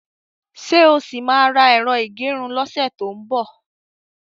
Ṣé o ṣì máa ra ẹ̀rọ ìgẹrun lọ́sẹ̀ tó ń bọ̀?